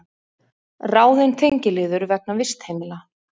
Ráðin tengiliður vegna vistheimila